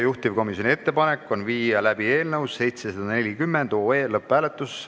Juhtivkomisjoni ettepanek on viia läbi eelnõu 740 lõpphääletus.